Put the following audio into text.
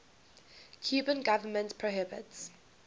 cuban government prohibits